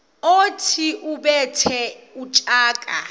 othi ubethe utshaka